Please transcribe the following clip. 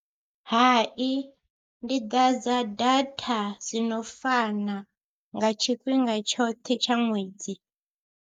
Hai ndi ḓadza data dzi no fana nga tshifhinga tshoṱhe tsha ṅwedzi.